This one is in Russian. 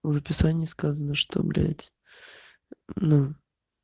в писании сказано что блять